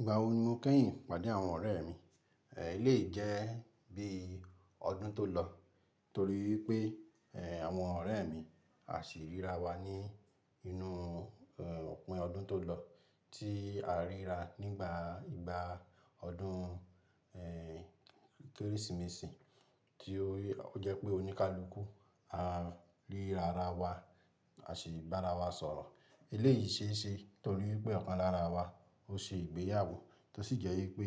Ìgbà wo ni mo kẹ́yìn pàdé àwọn ọ̀rẹ́ mi? Eléyìí jẹ́ bí ọdún tó lọ torí wípé, àwọn ọ̀rẹ́ mi a sì ríra wa ní inú, òpin ọdún tó lọ tí a ríra nígbà, ìgbà ọdún, Kérésìmesì tí o, ó jẹ́ pé oníkálukú a ríra ara wa, a sì bá ara wa sọ̀rọ̀. Eléyìí ṣe é ṣe torí pé ọ̀kan lára wa ó ṣe ìgbéyàwó tó sì jẹ́ wípé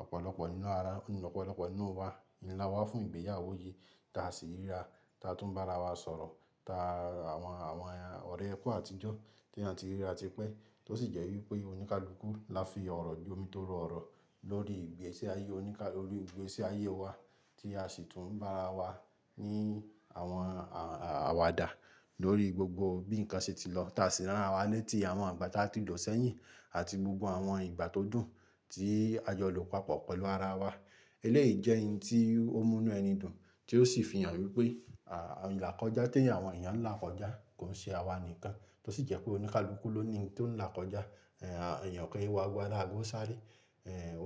ọ̀pọ̀lọpọ̀ nínú ara, ọ̀pọ̀lọpọ̀ nínú wa ń lá wá fún ìgbéyàwó yìí ta a sì ríra ta a tún bá ara wa sọ̀rọ̀ ta àwọn, àwọn ọ̀rẹ́ ẹkùn àtijọ́ tí èèyàn ti ríra tipẹ́ tó sì jẹ́ wípé oníkálukú la fi ọ̀rọ̀ ju omi tó ru ọ̀rọ̀ lórí ìgbésí ayé oníká, lórí ìgbésí ayé wa tí a sì tún bá ara wa ní àwọn àwàdà lórí gbogbo bí ǹnkan ṣe ti lọ ta a sì ran arawa létí àwọn ìgbà tá a ti lo sẹ́yìn àti gbogbo àwọn ìgbà tó dùn tí a jọ lò papọ̀ pẹ̀lú ara wa. Eléyìí jẹ́ ohun tí ó mú inú ẹni dùn tí ó sì fi hàn wípé, à, ìlà kọjá tí ẹ̀eyàn, àwọn èèyàn ń là kọjá kò n ṣe àwa nìkan tó sì jẹ́ pé oníkálukú ló ni ohun tí ó ń là kọjá, èèyàn o kin wo ágo a lago sáré,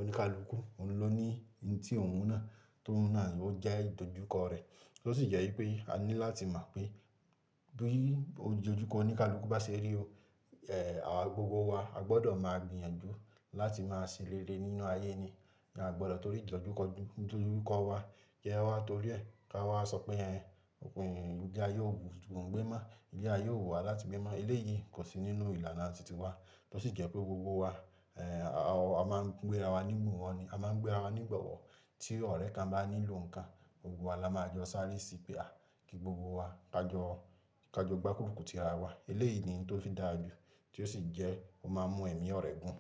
oníkálukú òun ló ní ohun tí òun náà tó ń náà ló jẹ́ ìdojúkọ rẹ̀. Tó sì jẹ́ wípé a ní láti mọ̀ pé bí ìdojúkọ oníkálukú bá ṣe rí o, àwa gbogbo wa a gbọdọ̀ máa gbìyànjú láti máa ṣe rere nínú ayé ni a gbọdọ̀ torí ìdojúkọ, ìdojúkọ wa ki a wá torí ẹ ká wá sọ pé, ilé ayé ò wù mí gbé mọ́, ilé ayé ò wù wá láti gbé mọ́. Eléyìí kò sí nínú ìlànà titi wa tó sì jẹ́ pé gbogbo wa, a máa ń gbé ara wá ní gbọ wọ ni a máa ń gbé ara wá ní gbọ wọ tí ọ̀rẹ́ kan bá nílò ǹkan, gbogbo wa la máa jọ sáré sí i pé a kí gbogbo wa kajọ, kajọ gbárùkù ti ara wa. Eléyìí ni ohun tó fi dára jù tí ó sì jẹ́ ó máa ń mú ẹ̀mí ọ̀rẹ́ gùn.